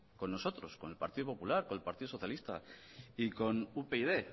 con nosotros con el partido popular con el partido socialista y con upyd